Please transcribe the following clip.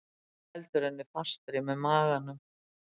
Heldur henni fastri með maganum.